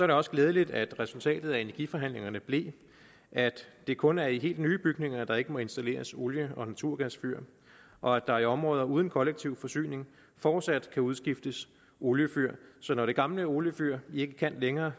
det også glædeligt at resultatet af energiforhandlingerne blev at det kun er i helt nye bygninger der ikke må installeres olie og naturgasfyr og at der i områder uden kollektiv forsyning fortsat kan udskiftes oliefyr så når det gamle oliefyr ikke kan længere